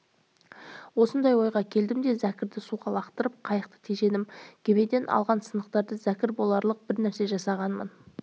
осындай ойға келдім де зәкірді суға лақтырып қайықты тежедім кемеден алған сынықтардан зәкір боларлық бір нәрсе жасағанмын